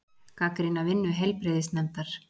Gagnrýna vinnu heilbrigðisnefndar